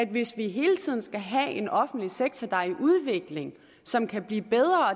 hvis vi hele tiden skal have en offentlig sektor der er i udvikling og som kan blive bedre